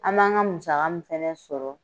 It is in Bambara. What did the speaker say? An b'an ka musaka min fana sɔrɔ